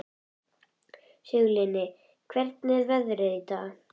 Sigurlinni, hvernig er veðrið í dag?